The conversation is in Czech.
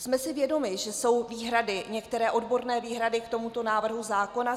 Jsme si vědomi, že jsou výhrady, některé odborné výhrady k tomuto návrhu zákona.